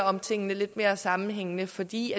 om tingene lidt mere sammenhængende fordi